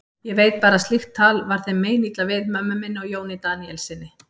Ég veit bara að slíkt tal var þeim meinilla við, mömmu minni og Jóni Daníelssyni.